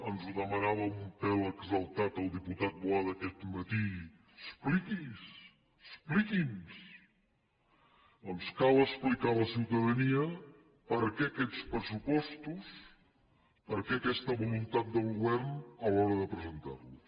ens ho demanava un pèl exaltat el diputat boada aquest matí expliqui’s expliqui’ns doncs cal explicar a la ciutadania per què aquests pressupostos per què aquesta voluntat del govern a l’hora de presentar los